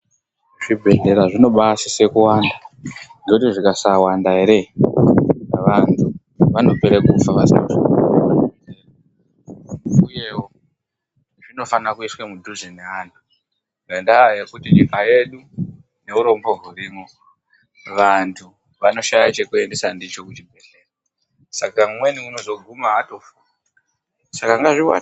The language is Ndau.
Zvibhedhlera zvinoba sise kuwanda nekuti zvikasawanda here vantu vanopera kufa vasina anivadetsera uyewo zvinofana kuiswa mudhuze nevantu ngenda yekuti nyika yedu neurombo hurimo vantu vanoshaya chekuendesa ndicho kuchibhedhlera Saka umweni anozoguma atofa Saka ngazviwande.